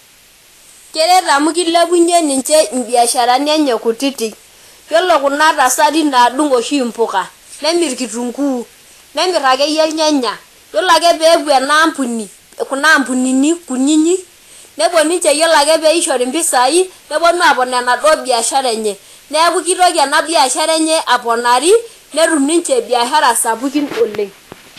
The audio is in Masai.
Keret amu kilepunyie ninche imbiasharani enye kutiti , yiolo kuna tasati naa kedung oshi impuka , nemir kitunkuu , nemir akeyie irnyanya , yiolo ake peepuo enaampuni ,kuna ampunini kunini , nepuo ninche yiolo ake peishori impisai neponu apon enaduo biashara enye , neeku kitoki enabiashara enye aponari , netum niche biashara sapukin oleng.